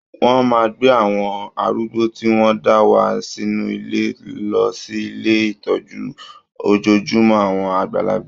Wọ́n máa gbé àwọn arúgbó tí wọ́n ń dá wà nínú ilé lọ sí ilé ìtọ́jú ojojúmọ́ àwọn àgbàlagbà.